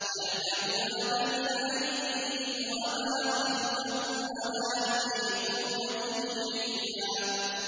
يَعْلَمُ مَا بَيْنَ أَيْدِيهِمْ وَمَا خَلْفَهُمْ وَلَا يُحِيطُونَ بِهِ عِلْمًا